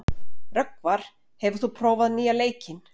Rögnvar, hefur þú prófað nýja leikinn?